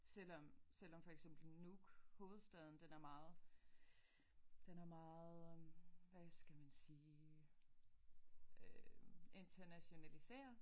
Selvom selvom for eksempel Nuuk hovedstaden den er meget den er meget hvad skal man sige internationaliseret